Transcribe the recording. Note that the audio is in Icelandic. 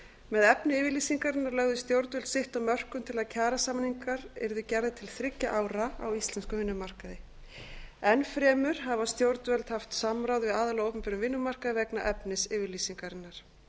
með efni yfirlýsingarinnar lögðu stjórnvöld sitt af mörkum til að kjarasamningar yrðu gerðir til þriggja ára á íslenskum vinnumarkaði enn fremur hafa stjórnvöld haft samráð við aðila á opinberum vinnumarkaði vegna efnis yfirlýsingarinnar í